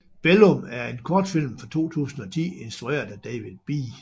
Bellum er en kortfilm fra 2010 instrueret af David B